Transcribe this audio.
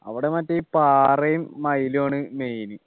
അവിടെ മറ്റേ ഈ പാറയും മയിലും ആണ് Main